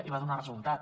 i va donar resultat